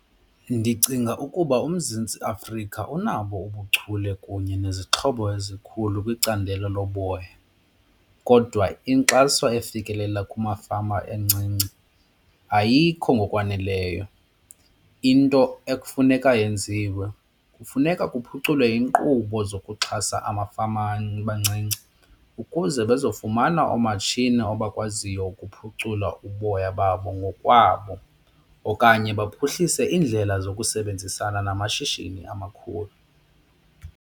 Ndicinga ukuba uMzantsi Afrika unabo ubuchule kunye nezixhobo ezikhulu kwicandelo loboya kodwa inkxaso efikelela kumafama incinci ayikho ngokwaneleyo. Into ekufuneka yenziwe kufuneka kuphuculwe iinkqubo zokuxhasa amafama amancinci ukuze bazofumana oomatshini abakwaziyo ukuphucula uboya babo ngokwabo okanye baphuhlise iindlela zokusebenzisana namashishini amakhulu.